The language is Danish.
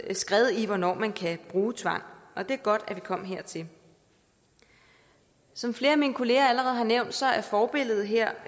skred i hvornår man kan bruge tvang og det er godt at vi kom hertil som flere af mine kollegaer allerede har nævnt er forbilledet her